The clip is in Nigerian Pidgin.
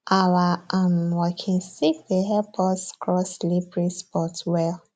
our um walking stick dey help us cross slippery spots well